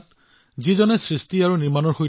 তেওঁলোক অবিহনে আমি আমাৰ জীৱন কল্পনা কৰিব নোৱাৰোঁ